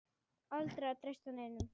Aldrei að treysta neinum.